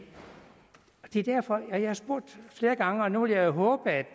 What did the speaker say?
er derfor jeg har spurgt om flere gange og nu vil jeg håbe at